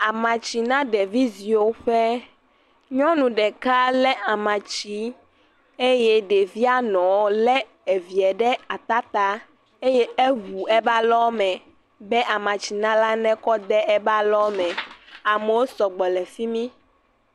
Amatsina ɖevi ziwo ƒe. nyɔnu ɖeka le amatsi eye ɖevia nɔ le evia ɖe ata ta. Eŋu eƒe alɔme be amatsinala nekɔ de eba lɔ me. Amewo sɔgbɔ le fi mi.